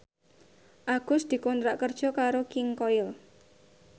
Agus dikontrak kerja karo King Koil